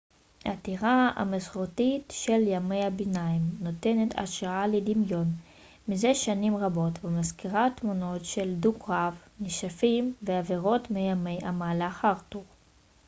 הטירה המסורתית של ימי הביניים נותנת השראה לדמיון מזה שנים רבות ומזכירה תמונות של דו-קרב נשפים ואבירות מימי המלך ארתור